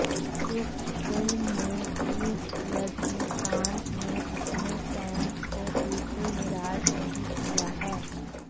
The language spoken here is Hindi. इस फिल्म में भी रजनीकांत ने अपने फैंस को बिल्कुल निराश नहीं किया है